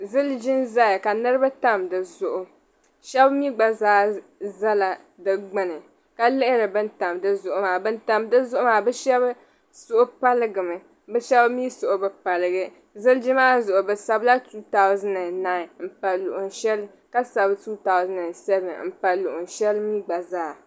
Ziliji nʒaya ka niribi tam dizuɣu shabimi gba zaa ʒɛla di gbuni ka lihiri ban tam dizuɣu maa, bi shabi suhu paligi mi bɛ shabimi suhu bi paligi. ziliji maa zuɣu bisabila, 2009 m-pa di zuɣu ka sabi 2007 n pa luɣishɛli pɔlɔ mi gba zaa.